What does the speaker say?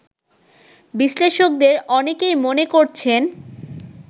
বিশ্লেষকদের অনেকেই মনে করছেন